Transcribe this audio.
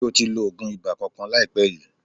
Ṣe o ti lo oògùn ibà kankan láìpé yìí?